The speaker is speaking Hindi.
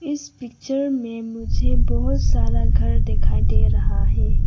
इस पिक्चर में मुझे बहोत सारा घर दिखाई दे रहा है।